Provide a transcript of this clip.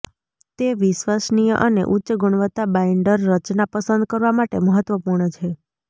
તે વિશ્વસનીય અને ઉચ્ચ ગુણવત્તા બાઈન્ડર રચના પસંદ કરવા માટે મહત્વપૂર્ણ છે